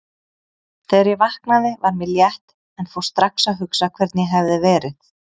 Þegar ég vaknaði var mér létt en fór strax að hugsa hvernig ég hefði verið.